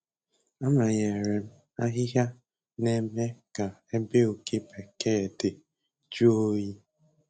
Amanyere m ahịhịa na-eme ka ebe oke bekee dị jụọ oyi.